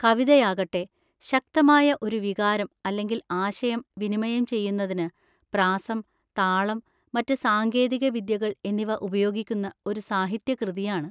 കവിതയാകട്ടെ, ശക്തമായ ഒരു വികാരം അല്ലെങ്കിൽ ആശയം വിനിമയം ചെയ്യുന്നതിന് പ്രാസം, താളം, മറ്റ് സാങ്കേതിക വിദ്യകൾ എന്നിവ ഉപയോഗിക്കുന്ന ഒരു സാഹിത്യകൃതിയാണ്.